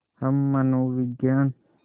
हम मनोविज्ञान